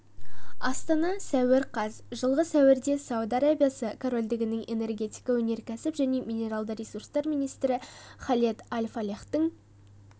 астана сәуір қаз жылғы сәуірде сауд арабиясы корольдігінің энергетика өнеркәсіп және минералды ресурстар министрі халед аль-фалехтің